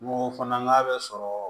N ko f'an k'a bɛ sɔrɔ